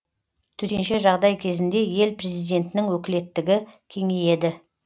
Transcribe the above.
төтенше жағдай кезінде ел президентінің өкілеттігі кеңейеді